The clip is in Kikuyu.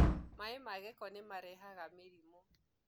maĩ ma gĩko nĩmarehaga mĩrimũ